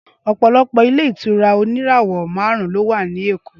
Ọpọlọpọ ilé ìtura òní ìràwọ màrún ló wà ní èkó.